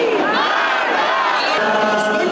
İsrail! Allahu Əkbər!